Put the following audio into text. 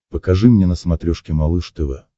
покажи мне на смотрешке малыш тв